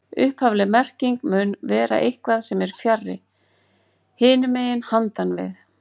Upphafleg merking mun vera eitthvað sem er fjarri, hinum megin, handan við